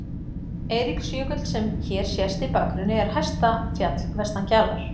Eiríksjökull, sem hér sést í bakgrunni, er hæsta fjall vestan Kjalar.